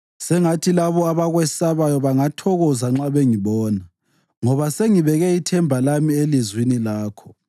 Sengathi labo abakwesabayo bangathokoza nxa bengibona, ngoba sengibeke ithemba lami elizwini lakho.